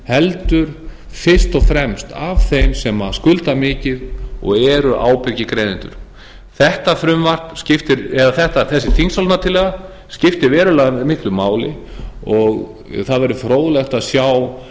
heldur fyrst og fremst af þeim sem skulda mikið og eru ábyrgir greiðendur þessi þingsályktunartillaga skiptir verulega miklu máli og það verður fróðlegt að sjá